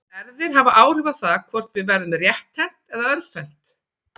Erfðir hafa áhrif á það hvort við verðum rétthent eða örvhent.